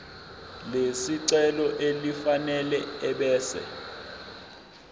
lesicelo elifanele ebese